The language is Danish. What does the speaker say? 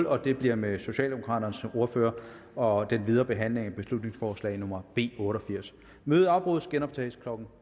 og det bliver med socialdemokraternes ordfører og den videre behandling af beslutningsforslag nummer b otte og firs mødet afbrydes og genoptages klokken